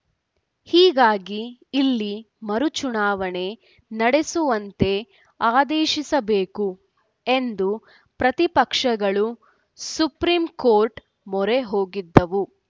ಹೀಗಾಗಿ ಇಲ್ಲಿ ಮರುಚುನಾವಣೆ ನಡೆಸುವಂತೆ ಆದೇಶಿಸಬೇಕು ಎಂದು ಪ್ರತಿಪಕ್ಷಗಳು ಸುಪ್ರೀಂ ಕೋರ್ಟ್‌ ಮೊರೆ ಹೋಗಿದ್ದವು